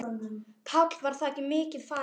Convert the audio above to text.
Páll: Var þakið mikið farið?